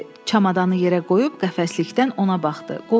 Çamadanı yerə qoyub qəflətdən ona baxdı.